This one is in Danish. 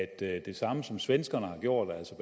det samme som svenskerne har gjort altså